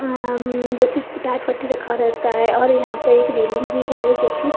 अ अं जैसे कि टाट पट्टी रखा रहता हैं और यहां प एक रेलिंग भी है जोकि--